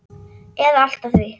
eða allt að því.